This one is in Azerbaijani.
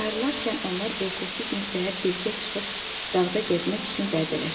Ayrılarkən onlar ertəsi gün səhər birgə çıxıb dağda gəzmək üçün vədələşdilər.